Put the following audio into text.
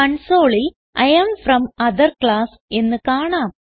കൺസോളിൽ I am from other class എന്ന് കാണാം